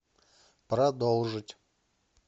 продолжить